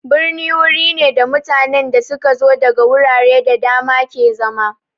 Birni wuri ne da mutanen da su ka zo daga wurare da dama ke zama.